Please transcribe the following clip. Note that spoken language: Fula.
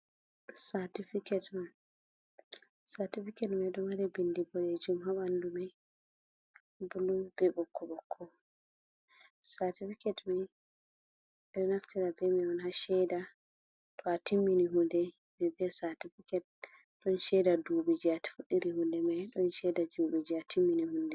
Certifiket man, certifiket mai ɗo mari bindi boɗejum ha ɓandu mai bulu be ɓokko ɓokko, certifiket mai ɓeɗo naftira be man on ha cheda to a timmini hunde ɓe biya cartifiket ɗon cheda ɗubi je afuɗiri hunde mai ɗon cheda ɗubi je atimmini hunde man.